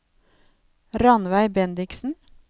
Rannveig Bendiksen